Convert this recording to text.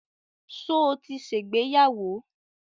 Ṣo ti ṣègbéyàwó?